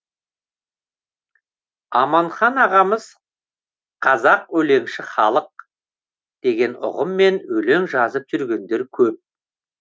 аманхан ағамыз қазақ өлеңші халық деген ұғыммен өлең жазып жүргендер көп